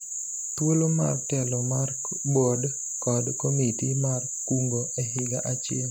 thuolo mar telo mar bod kod komiti mar kungo e higa achiel